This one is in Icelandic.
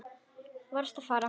Varðst að fara.